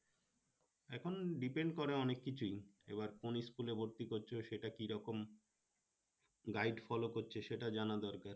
এখন depend করে অনেক কিছুই এবার কোন school এ ভর্তি করছো সেটা কিরকম guide ফলো করছে সেটা জানা দরকার